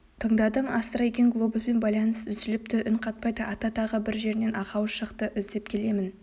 тыңдадым астра екен глобуспен байланыс үзіліпті үн қатпайды ата тағы бір жерінен ақау шықты іздеп келемін